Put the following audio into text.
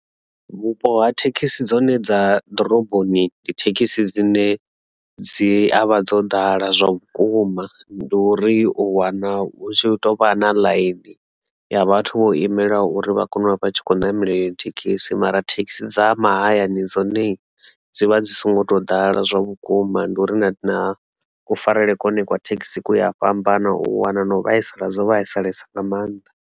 Vhupo ha thekhisi dzone dza ḓoroboni ndi thekhisi dzine dzi avha dzo ḓala zwa vhukuma ndi uri u wana hu tshi tovha na ḽaini ya vhathu vho imela uri vha kone uvha vha tshi kho ṋamele iyo thekhisi mara thekhisi dza mahayani dzone dzivha dzi songo tou ḓala zwa vhukuma ndi uri na na kufarele kwa hone kwa thekhisi ku ya fhambana u wana na u vhaisala dzo vhaisalesa nga maanḓa.